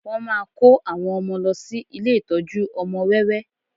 Wọ́n máa kó àwọn ọmọ lọ sí ilé ìtọ́jú ọmọ wẹ́wẹ́